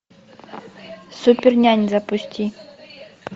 супернянь запусти